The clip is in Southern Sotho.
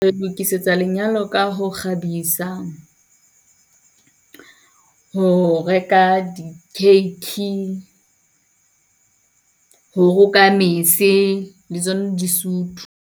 Re lokisetsa lenyalo ka ho kgabisa, ho reka di-cake, ho roka mese, le tsona disutu.